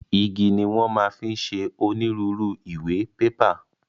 Igi ni wọn máa fi ń ṣe onírúurú ìwé/pépà